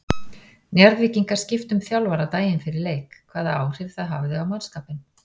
Njarðvíkingar skiptu um þjálfara daginn fyrir leik, hvaða áhrif það hafði á mannskapinn?